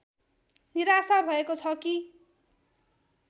निराशा भएको छ कि